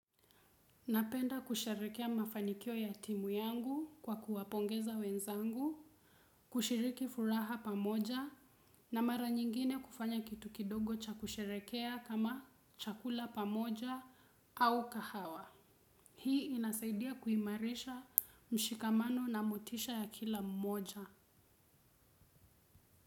Napenda kusherehekea mafanikio ya timu yangu kwa kuwapongeza wenzangu, kushiriki furaha pamoja na mara nyingine kufanya kitu kidogo cha kusherehekea kama chakula pamoja au kahawa. Hii inasaidia kuimarisha mshikamano na motisha ya kila mmoja.